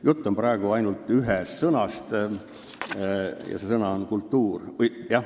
Jutt on praegu ainult ühest sõnast ja see sõna on "kultuuriline".